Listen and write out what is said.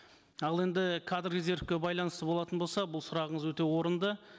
ал енді кадр резервке байланысты болатын болса бұл сұрағыңыз өте орынды